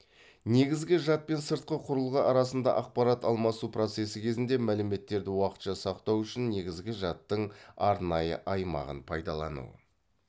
негізгі жад пен сыртқы құрылғы арасында ақпарат алмасу процесі кезінде мәліметтерді уақытша сақтау үшін негізгі жадтың арнайы аймағын пайдалану